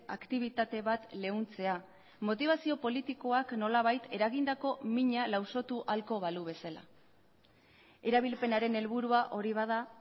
aktibitate bat leuntzea motibazio politikoak nolabait eragindako mina lausotu ahalko balu bezala erabilpenaren helburua hori bada